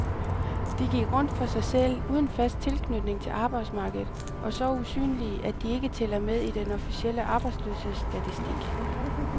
De gik rundt for sig selv, uden fast tilknytning til arbejdsmarkedet og så usynlige, at de ikke tæller med i den officielle arbejdsløshedsstatistik.